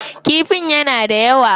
Kifin yana da yawa.